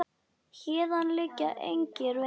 Héðan liggja engir vegir.